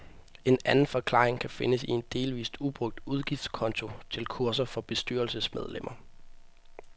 En anden forklaring kan findes i en delvist ubrugt udgiftskonto til kurser for bestyrelsesmedlemmer.